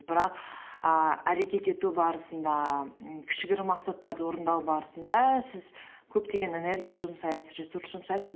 бірақ ііі әрекет ету барысында кішігірім мақсаттарды орындау барысында сіз көптеген энергия жұмсайсыз ресурс жұмсайсыз